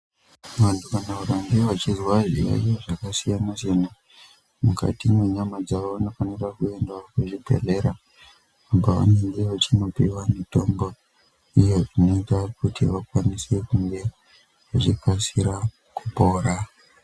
Vantu kana vakaneg vachizwa zvirwere zvakasiyana siyana mukati mwenyama dzavo vanofanira kuendawo kuzvibhedhlera kwavanenge vachinopiwa mitombo iye inoita kuti vakwanise kunge vachikasira kupora.